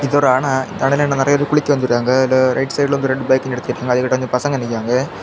இது ஒரு அண தண்ணில இங்க நறைய பேர் குளிக்க வந்திருக்காங்க அதுல ரைட் சைடுல வந்து ரெண்டு பைக்க நிறுத்திட்டு ஏழு எட்டு பசங்க நிக்கிறாங்க.